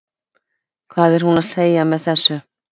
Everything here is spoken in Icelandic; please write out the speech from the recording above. Hvað er hún að segja með þessu?